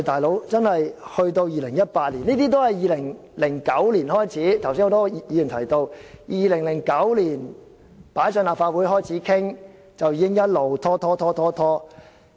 "老兄"，現在已是2018年，而剛才很多議員也提到，政府在2009年提交立法會開始討論，其後已經一直拖延。